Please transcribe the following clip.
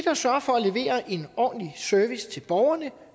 at sørge for at levere en ordentlig service til borgerne